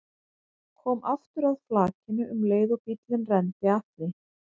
Kom aftur að flakinu um leið og bíllinn renndi að því.